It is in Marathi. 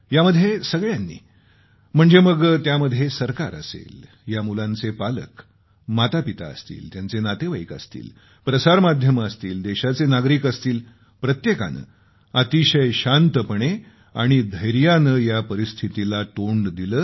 यामध्ये सगळ्यांनी म्हणजे मग त्यामध्ये सरकार असेल या मुलांचे पालक मातापिता असतील त्यांचे नातेवाईक असतील प्रसार माध्यमे असतील देशाचे नागरिक असतील प्रत्येकाने अतिशय शांतपणे आणि धैर्याने या परिस्थितीला तोंड दिले